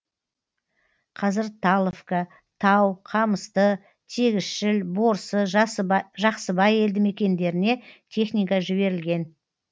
қазір таловка тау қамысты тегісшіл борсы жақсыбай елді мекендеріне техника жіберілген